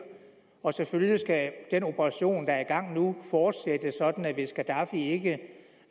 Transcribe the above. og selvfølgelig skal den operation der er i gang nu fortsætte sådan at hvis gaddafi ikke